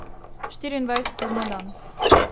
Štiriindvajset ur na dan.